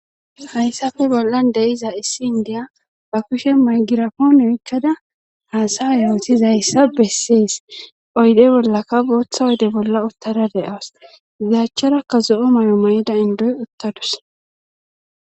Hayssafe bollan deiza issi indiya ba kushe maygirafoon yoikkada haasa yootiz hayssa bessees oyde bollaka booththa oyde bolla uttara de7awas gizachcharakka zo7o mayo mayida indoy uttadus